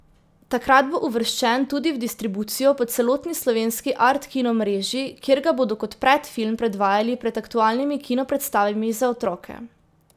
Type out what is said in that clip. Takrat bo uvrščen tudi v distribucijo po celotni slovenski art kino mreži, kjer ga bodo kot predfilm predvajali pred aktualnimi kinopredstavami za otroke.